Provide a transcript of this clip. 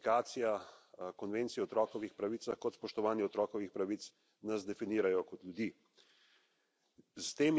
Namreč tako ratifikacija Konvencije o otrokovih pravicah kot spoštovanje otrokovih pravic nas definirajo kot ljudi.